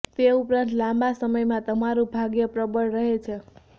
તે ઉપરાંત લાંબા સમયમાં તમારું ભાગ્ય પ્રબળ રહે છે